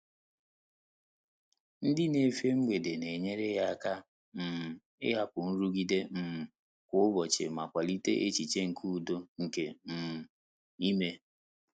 Ndị́ nà-éfè mgbèdé nà-ényéré yá áká um ị́hàpụ́ nrụ́gídé um kwá ụ́bọ̀chị̀ mà kwàlíté échíché nké údo nké um ímé.